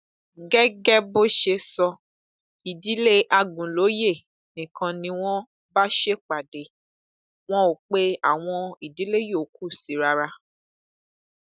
gẹgẹ bó ṣe sọ ìdílé àgúnlóye nìkan ni wọn bá ṣèpàdé wọn ò pe àwọn ìdílé yòókù sí i rárá